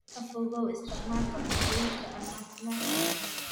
Ka fogow isticmaalka cuntooyinka aan caafimaadka lahayn.